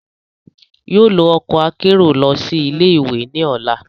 yóò lo ọkọ akero lọ si ile-iwe ni ọla